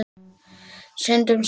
Syndum saman.